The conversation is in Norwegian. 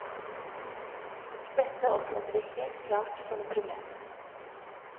Dette oppfatter vi helt klart som et problem.